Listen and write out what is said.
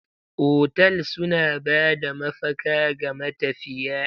Otal suna ba da mafaka ga matafiya.